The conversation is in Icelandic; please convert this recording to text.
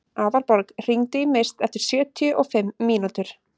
Aðalborg, hringdu í Mist eftir sjötíu og fimm mínútur.